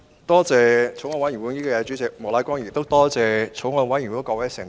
多謝法案委員會主席莫乃光議員，亦感謝法案委員會的各位成員。